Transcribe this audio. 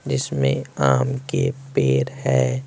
जिसमें आम के पेर है।